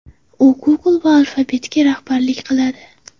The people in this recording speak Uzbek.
U Google va Alphabet’ga rahbarlik qiladi.